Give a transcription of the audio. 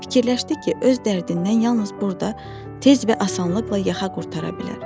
Fikirləşdi ki, öz dərdindən yalnız burda tez və asanlıqla yaxa qurtara bilər.